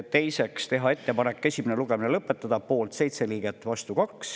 Teiseks tehti ettepanek selle esimene lugemine lõpetada, poolt oli 7 liiget, vastu 2.